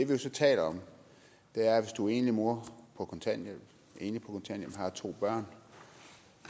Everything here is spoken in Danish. jo så taler om er at hvis du er enlig mor på kontanthjælp og har to børn